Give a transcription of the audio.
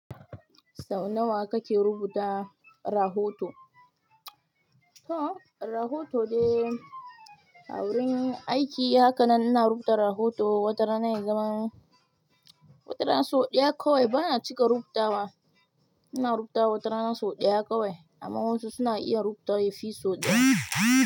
Sau nawa kake rubuta rahoto? To, rahoto de a wurin aiki haka nan ina rubuta rahoto. Watara idan watara so ɗaya kawai bana cika rubutawa. Ina rubutawa watarana so ɗaya kawai amma wasu suna iya rubuta yafi so ɗaya.